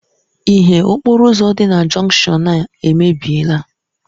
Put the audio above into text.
Ìhè okporo ụzọ dị na jọnshọn a emebiela.